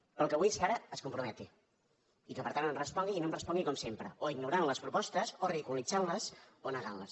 però el que vull és que ara es comprometi i que per tant em respongui i que no em respongui com sempre o ignorant les propostes o ridiculitzant les o negant les